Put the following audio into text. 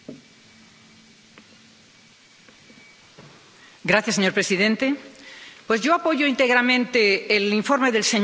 Señor presidente, pues yo apoyo íntegramente el informe del señor Sarvamaa sobre la estrategia forestal, y lo hago por dos motivos principales.